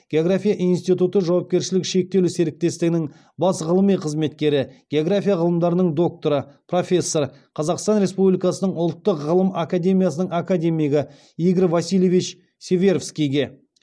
география институты жауапкершілігі шектеулі серіктестігінің бас ғылыми қызметкері география ғылымдарының докторы профессор қазақстан республикасының ұлттық ғылым академиясының академигі игорь васильевич северскийге